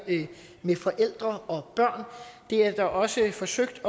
med forældre og børn det er der også forsøgt